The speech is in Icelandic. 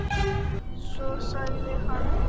Svo sagði hann.